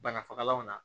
Banafagalanw na